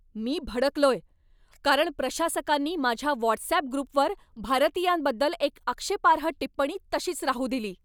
मी भडकलोय, कारण प्रशासकांनी माझ्या व्हॉट्सअॅप ग्रुपवर भारतीयांबद्दल एक आक्षेपार्ह टिप्पणी तशीच राहू दिली.